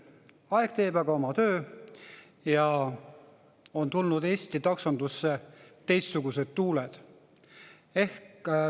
Aeg teeb aga oma töö ja Eesti taksondusse on tulnud teistsugused tuuled.